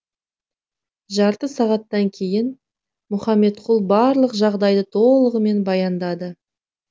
жарты сағаттан кейін мұхаметқұл барлық жағдайды толығынан баяндады